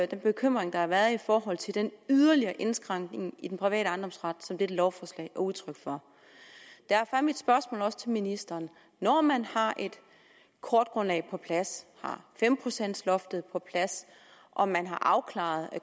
den bekymring der har været i forhold til den yderligere indskrænkning i den private ejendomsret som dette lovforslag er udtryk for derfor er mit spørgsmål også til ministeren når man har et kortgrundlag på plads og har fem procents loftet på plads og man har afklaret